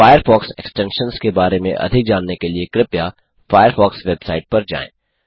Firefox extensions के बारे में अधिक जानने के लिए कृपया फ़ायरफ़ॉक्स वेबसाइट पर जाएँ